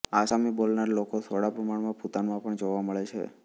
આસામી બોલનારા લોકો થોડા પ્રમાણમાં ભૂતાનમાં પણ જોવા મળે છે